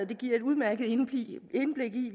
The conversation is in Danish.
giver et udmærket indblik i